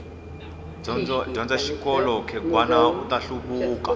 dyondza xikolo khegwani uta hluvuka